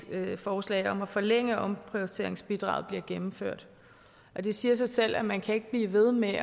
forslag om at forlænge omprioriteringsbidraget bliver gennemført det siger sig selv at man ikke kan blive ved med